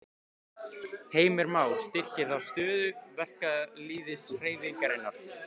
Heimir Már: Styrkir það stöðu verkalýðshreyfingarinnar?